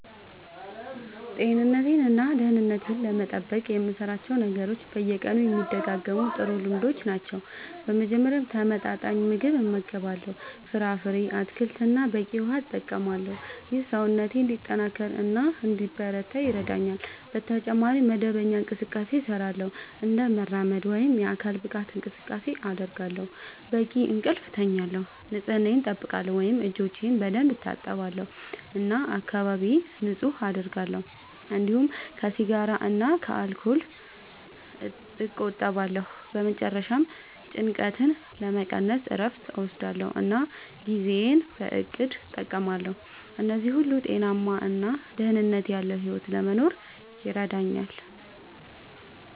ጤንነቴን እና ደህንነቴን ለመጠበቅ የምሠራቸው ነገሮች በየቀኑ የሚደጋገሙ ጥሩ ልምዶች ናቸው። በመጀመሪያ ተመጣጣኝ ምግብ እመገባለሁ፣ ፍራፍሬ፣ አትክልት እና በቂ ውሃ እጠቀማለሁ። ይህ ሰውነቴን እንዲጠናከር እና እንዲበረታ ይረዳኛል። በተጨማሪ መደበኛ እንቅስቃሴ እሠራለሁ፣ እንደ መራመድ ወይም የአካል ብቃት እንቅስቃሴ አደርጋለሁ፣ በቂ እንቅልፍ እተኛለሁ፣ ንጽህናየን አጠብቃለሁ (እጆቼን በደንብ እታጠባለሁ እና አካባቢዬን ንጹህ አደርጋለሁ)፤እንዲሁም ከሲጋራ እና ከአልኮል እቆጠባለሁ። በመጨረሻ ጭንቀትን ለመቀነስ እረፍት እወስዳለሁ እና ጊዜዬን በእቅድ እጠቀማለሁ። እነዚህ ሁሉ ጤናማ እና ደህንነት ያለዉ ሕይወት ለመኖር ይረዳኛል።